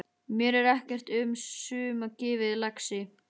Mér er ekkert um suma gefið, lagsi.